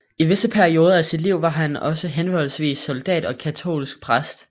I visse perioder af sit liv var han også henholdsvis soldat og katolsk præst